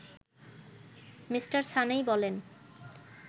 Mr সানেই বলেন